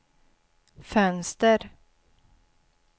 fönster